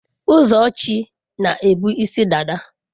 Ụzọchi na ebu isi dada.